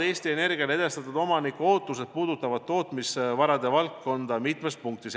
" Eesti Energia on teada andnud, et omanikuootused puudutavad tootmise ja varade valdkonda mitmes punktis.